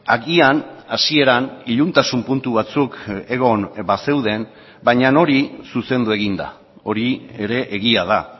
agian hasieran iluntasun puntu batzuk egon bazeuden baina hori zuzendu egin da hori ere egia da